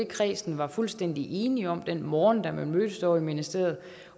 kredsen var fuldstændig enige om den morgen da man mødtes ovre i ministeriet